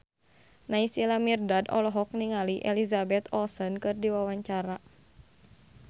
Naysila Mirdad olohok ningali Elizabeth Olsen keur diwawancara